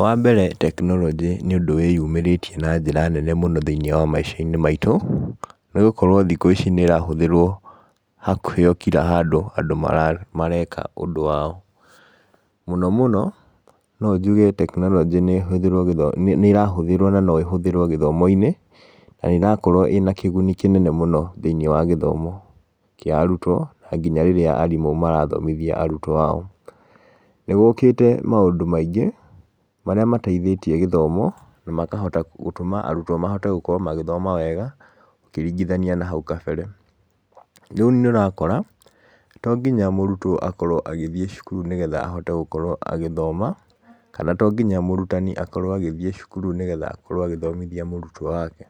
Wambere tekironjĩ nĩ ũndũ wĩyumĩrĩtie na njĩra nene mũno thĩinĩ wa maica-inĩ maitũ, nĩgũkorwo thikũ ici nĩ ĩrahũthĩrwo hakuhĩ o kira handũ andũ mareka ũndũ wao, mũno mũno, nonjuge tekironjĩ nĩ irahũthĩrwo na no ĩhũthĩrwo gĩthomo-inĩ, na nĩ ĩrakorwo ĩna kĩguni kĩnene mũno thĩinĩ wa gĩthomo kĩa arutwo, na nginya rĩrĩa arimũ marathomothia arutwo ao. Nĩ gũkĩte maũndũ maingĩ, marĩa mateithĩtie gĩthomo na makahota gũtũma arutwo gũkorwo magĩthoma wega, ũkĩringithania nahau kabere. Rĩu nĩ ũrakora, tonginya mũrutwo akorwo agĩthiĩ cukuru nĩguo akorwo agĩthoma, kana tonginya mũrutani akorwo agĩthiĩ cukuru nĩguo akorwo agĩthomithia mũrutwo wake.